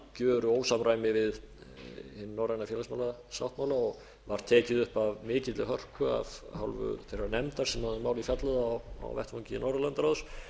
algjöru ósamræmi við hinn norræna félagsmálasáttmála og var tekið upp af mikilli hörku af hálfu þeirrar nefndar sem um málið fjallaði á vettvangi norðurlandaráðs